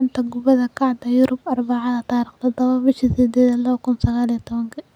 Xanta Kubadda Cagta Yurub Arbacada 07.08.2019: Dybala, Coutinho, Ozil, Eriksen, Llorente, Cancelo, Upamecano, Lukaku